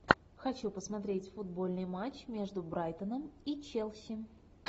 хочу посмотреть футбольный матч между брайтоном и челси